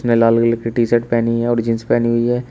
लाल colour के T shirt पेहनी है और जींस पेहनी हुई है।